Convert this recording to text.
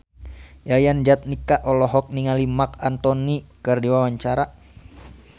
Yayan Jatnika olohok ningali Marc Anthony keur diwawancara